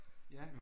Ja